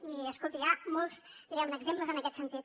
i escolti hi ha molts diguem ne exemples en aquest sentit